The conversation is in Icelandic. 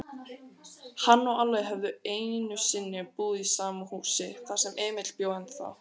Hann og Alli höfðu einusinni búið í sama húsi, þar sem Emil bjó ennþá.